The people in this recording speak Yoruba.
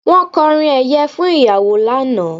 Wọ́n kọrin ẹ̀yẹ fún ìyàwó lánàá